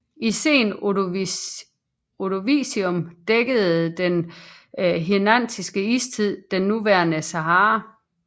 I Sen Ordovicium dækkede den Hirnantiske Istid det nuværende Sahara